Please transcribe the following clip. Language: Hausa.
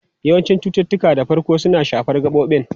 Yawancin cututtuka da farko suna shafar gabobin.